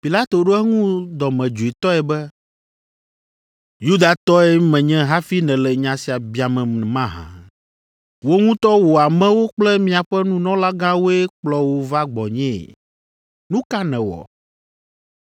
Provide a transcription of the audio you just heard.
Pilato ɖo eŋu dɔmedzoetɔe be, “Yudatɔe menye hafi nèle nya sia biamem mahã? Wò ŋutɔ wò amewo kple miaƒe nunɔlagãwoe kplɔ wò va gbɔnyee? Nu ka nèwɔ?